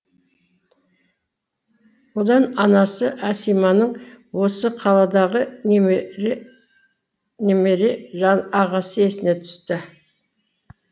одан анасы әсиманың осы қаладағы немере ағасы есіне түсті